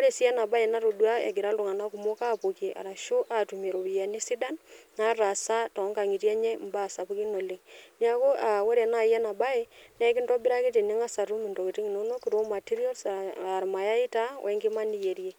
ore sii ena baye natodua egira iltung'anak kumok apokie arashu atumie iropiyiani sidan nataasa tonkang'itie enye imbaa sapukin oleng niaku uh ore naaji ena baye nekintobiraki tening'as atum intokiting inonok raw materials aa irmayai taa wenkima niyierie.